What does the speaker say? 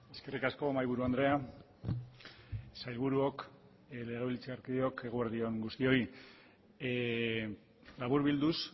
eskerrik asko mahaiburu andrea sailburuok legebiltzarkideok eguerdi on guztioi laburbilduz